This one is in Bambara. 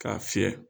K'a fiyɛ